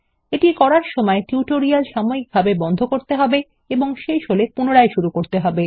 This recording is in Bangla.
এটি করার সময় টিউটোরিয়ালটি সাময়িকভাবে বন্ধ করতে হবে এবং শেষ হলে পুনরায় করতে হবে